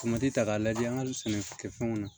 Tomati ta k'a lajɛ an ka sɛnɛkɛfɛnw na